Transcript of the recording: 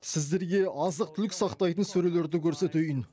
сіздерге азық түлік сақтайтын сөрелерді көрсетейін